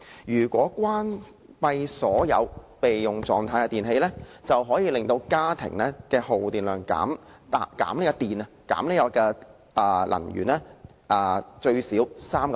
如果關閉所有處於備用狀態的電器，便可以令家庭的耗電量最少減 3%。